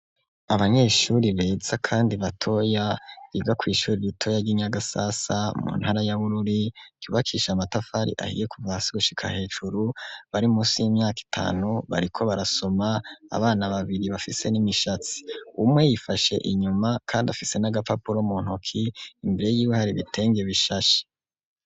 Abanyeshuri beza kandi batoya biga ku ishuri ritoya ryi Nyagasasa mu ntara ya Bururi yubakisha matafari ahiye kuva hasi gushika hejuru .Bari munsi y'imyaka itanu bariko barasoma abana babiri bafise n'imwishatsi umwe yifashe inyuma kandi afise n'agapapuro mu ntoki imbere y'ibuhare bitenge bishashe.